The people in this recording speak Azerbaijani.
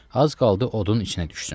Az qaldı odun içinə düşsün.